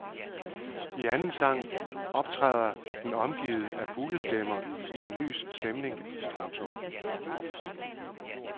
I anden sang optræder den omgivet af fuglestemmer i en lys stemning. punktum